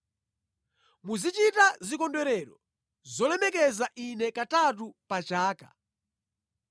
“Muzichita zikondwerero zolemekeza Ine katatu pa chaka.